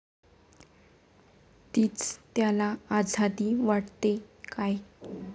तीच त्याला आझादी वाटते काय?